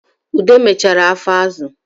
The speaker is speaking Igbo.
Ude mechere afọ azụ